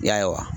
I y'a ye wa